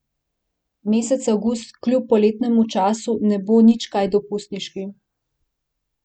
Mesec avgust kljub poletnemu času ne bo nič kaj dopustniški.